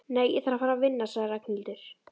Nei, ég þarf að fara að vinna sagði Ragnhildur.